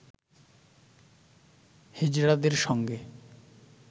হিজড়াদের সঙ্গে